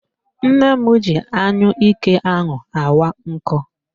Nne m ji anyụike ha awa nkụ